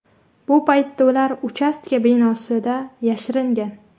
Bu paytda ular uchastka binosida yashiringan.